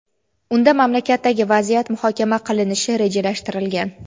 unda mamlakatdagi vaziyat muhokama qilinishi rejalashtirilgan.